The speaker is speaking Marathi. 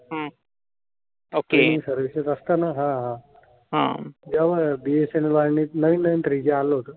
तेव्हा BSNL वर्णित नवीन नवीन थ्रीजी आल होत.